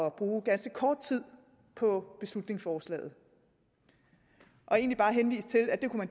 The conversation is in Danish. at bruge ganske kort tid på beslutningsforslaget og egentlig bare henviste til at det kunne